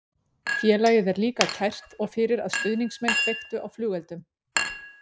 Félagið er líka kært og fyrir að stuðningsmenn kveiktu á flugeldum.